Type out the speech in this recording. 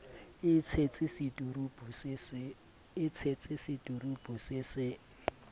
e tshetse seturupu se se